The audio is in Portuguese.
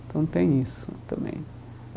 Então tem isso também.